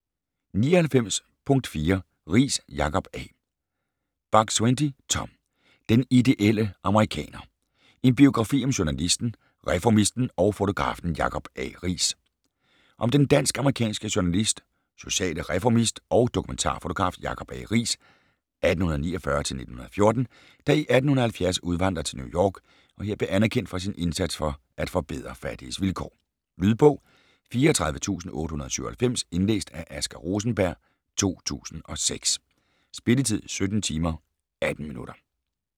99.4 Riis, Jacob A. Buk-Swienty, Tom: Den ideelle amerikaner: en biografi om journalisten, reformisten og fotografen Jacob A. Riis Om den dansk-amerikanske journalist, sociale reformist og dokumentarfotograf Jacob A. Riis (1849-1914), der i 1870 udvandrede til New York, og her blev anerkendt for sin indsats for at forbedre fattiges vilkår. Lydbog 34897 Indlæst af Asger Rosenberg, 2006. Spilletid: 17 timer, 18 minutter.